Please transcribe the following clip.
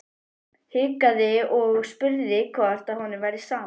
Hikaði og spurði hvort honum væri sama.